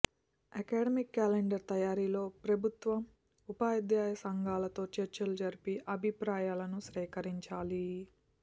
academic calendar తయారీలో ప్రభుత్వం ఉపాధ్యాయ సంఘాలతో చర్చలు జరిపి అభిప్రాయాలను సేకరించాలి